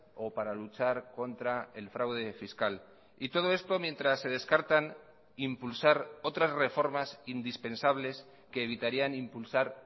o para luchar contra el fraude fiscal y todo esto mientras se descartan impulsar otras reformas indispensables que evitarían impulsar